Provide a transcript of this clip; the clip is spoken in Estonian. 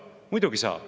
Muidugi saab.